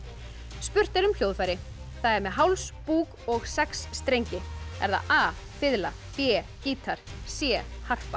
spurt er um hljóðfæri það er með háls búk og sex strengi er það a fiðla b gítar c harpa